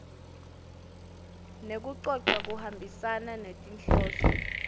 nekucoca kuhambisane netinhloso